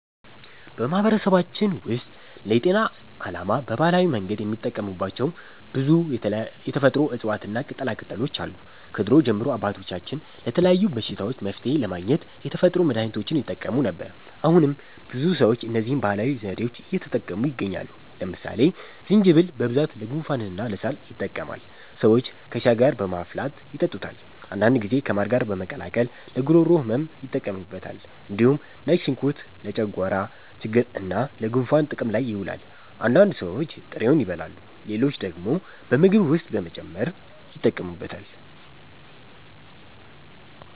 በማህበረሰባችን ውስጥ ለጤና ዓላማ በባህላዊ መንገድ የሚጠቀሙባቸው ብዙ የተፈጥሮ እፅዋትና ቅጠላቅጠሎች አሉ። ከድሮ ጀምሮ አባቶቻችን ለተለያዩ በሽታዎች መፍትሔ ለማግኘት የተፈጥሮ መድሀኒቶችን ይጠቀሙ ነበር። አሁንም ብዙ ሰዎች እነዚህን ባህላዊ ዘዴዎች እየተጠቀሙ ይገኛሉ። ለምሳሌ ዝንጅብል በብዛት ለጉንፋንና ለሳል ይጠቅማል። ሰዎች ከሻይ ጋር በማፍላት ይጠጡታል። አንዳንድ ጊዜ ከማር ጋር በመቀላቀል ለጉሮሮ ህመም ይጠቀሙበታል። እንዲሁም ነጭ ሽንኩርት ለጨጓራ ችግርና ለጉንፋን ጥቅም ላይ ይውላል። አንዳንድ ሰዎች ጥሬውን ይበላሉ፣ ሌሎች ደግሞ በምግብ ውስጥ በመጨመር ይጠቀሙበታል።